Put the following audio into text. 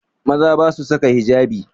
Maza ba su saka hijabi